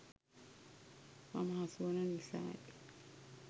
මම හසුවන නිසායි.